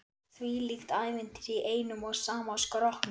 Þvílíkt ævintýri í einum og sama skrokknum.